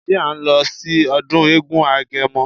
Ṣé à ń lọ sí ọdún eégún agẹmọ?